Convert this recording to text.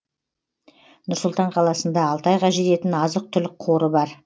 нұр сұлтан қаласында алты айға жететін азық түлік қоры бар